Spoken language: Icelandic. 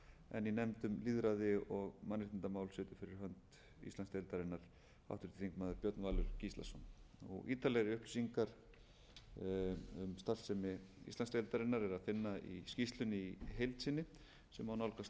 en í nefnd um lýðræði og mannréttindamál situr fyrir hönd íslandsdeildarinnar háttvirtur þingmaður björn valur gíslason ítarlegri upplýsingar um starfsemi íslandsdeildarinnar er að finna í skýrslunni í heild sinni sem má nálgast á